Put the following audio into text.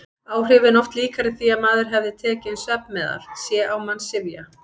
Áhrifin oft líkari því að maður hefði tekið inn svefnmeðal: sé á mann syfja.